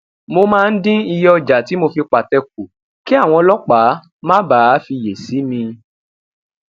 mo máa ń dín iye oja ti mo fi pate ku kí àwọn ọlópàá má bàa fiyè sí mi